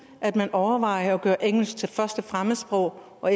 at man overvejer at gøre engelsk til første fremmedsprog og